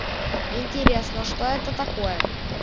интересно что это такое